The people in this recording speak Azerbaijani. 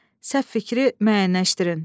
Səhv fikri müəyyənləşdirin.